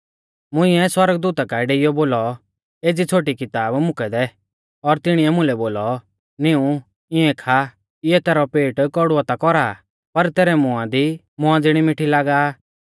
मुंइऐ सौरगदूता काऐ डेइयौ बोलौ एज़ी छ़ोटी किताब मुकै दै और तिणीऐ मुलै बोलौ नीऊं इऐं खा इऐ तैरौ पेट कौड़ुऔ ता कौरा आ पर तैरै मुंआ दी मौआ ज़िणी मिठी लागा आ